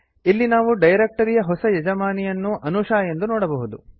ಇಲ್ಲಿ ನಾವು ಡೈರೆಕ್ಟರಿಯ ಹೊಸ ಯಜಮಾನಿಯನ್ನು ಅನೂಶಾ ಎಂದು ನೋಡಬಹುದು